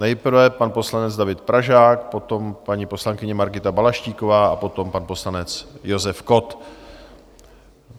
Nejprve pan poslanec David Pražák, potom paní poslankyně Margita Balaštíková a potom pan poslanec Josef Kott.